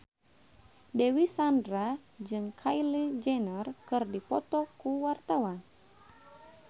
Dewi Sandra jeung Kylie Jenner keur dipoto ku wartawan